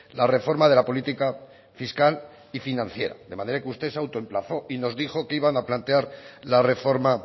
la reforma de la política fiscal y financiera de manera que usted se autoemplazó y nos dijo que iban a plantear la reforma